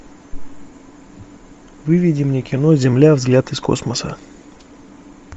выведи мне кино земля взгляд из космоса